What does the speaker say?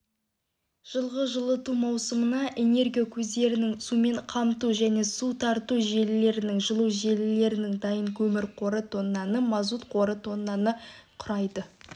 жылғы жылыту маусымына энергия көздерінің сумен қамту және су тарту желілерінің жылу желілерінің дайын көмір қоры тоннаны мазут қоры тоннаны құрайды